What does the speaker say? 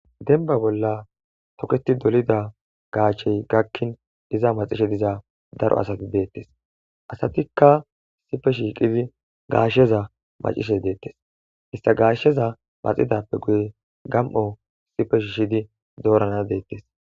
denba bolla toketi dolida gaachey gakkin iza macishe diza daro asati deettes asatikka sife shiiqidi gaashsheza macishe deettes ista gaashsheza maxidappe guye gam7o sife shiishidi doorana deettes